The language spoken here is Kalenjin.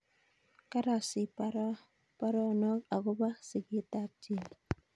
karasich paronog akopo sigetap chebet